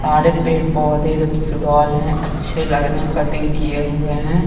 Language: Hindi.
सारे पेड़-पौधे एकदम सुडोल है अच्छे लग रहे है कटिंग किये हुए है ।